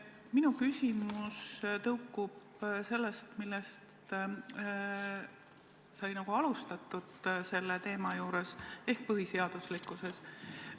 Minu küsimus tõukub sellest, millest sai selle teema puhul alustatud, ehk põhiseaduslikkusest.